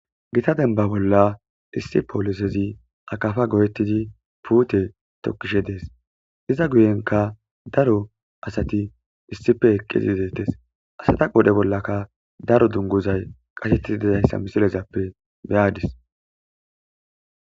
Gita denba bolla issi poolisezi akafa goyettidi puute tokkishe dees iza guyenka daro asati issife eqqizi deettes asata qoodhe bollaka daro dungozay qashettidi didayssa misilezappe beyadis.